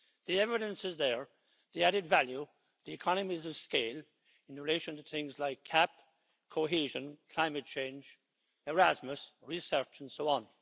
The evidence is there the added value, the economies of scale in relation to things like CAP, cohesion, climate change, Erasmus, research and so on.